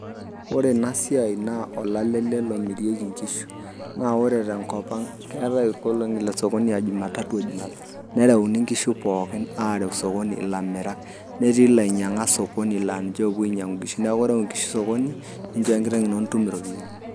Ore ena siai naa olale ele lomirieki inkishu. Naa ore tenkop ang' keatai inkolong'i esokoni a Jumatatu o Jumapili, nereuni inkishu pookin areu sokoni ilamirak, netii lainyang'ak sokoni laa ninche owuo ainyang' inkishu, neaku ireu inkishu sokoni ninchooyo enkiteng ino nitum iropiani.